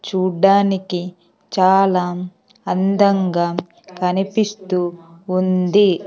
చూడ్డానికి చాలా అందంగా కనిపిస్తూ ఉంది.